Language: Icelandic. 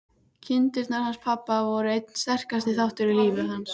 Kindurnar hans pabba voru einn sterkasti þátturinn í lífi hans.